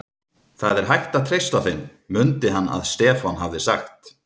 Það er hægt að treysta þeim, mundi hann að Stefán hafði sagt.